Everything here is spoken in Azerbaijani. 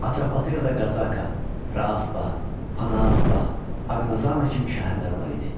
Atropatenada Qazaka, Praspa, Panaspa, Aqnazana kimi şəhərlər var idi.